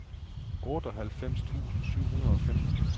otteoghalvfems tusind syv hundrede og femten